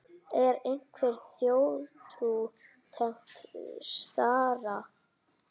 Er einhver þjóðtrú tengd stara?